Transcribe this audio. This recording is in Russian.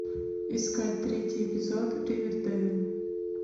искать третий эпизод ривердейл